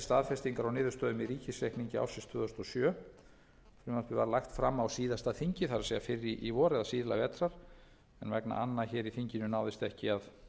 staðfestingar á niðurstöðum í ríkisreikningi ársins tvö þúsund og sjö frumvarpið var lagt fram á síðasta þingi það er fyrr í vor eða síðla vetrar en vegna anna hér í þinginu náðist ekki að